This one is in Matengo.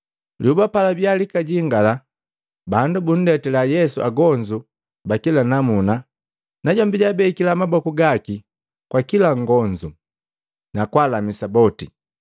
Lyoba palabiya lakajingala, bandu bundetila Yesu agonzu ba kila namuna, najombi jaabekila maboku gaki kwa kila nngonzu, nakwaalamisa boti.